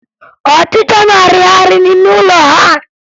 Ọchịcha na-arịgharị n'ime ụlọ ha